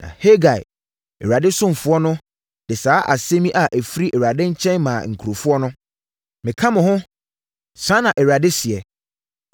Na Hagai, Awurade somafoɔ no, de saa asɛm yi a ɛfiri Awurade nkyɛn maa nkurɔfoɔ no: “Meka mo ho.” Saa na Awurade seɛ.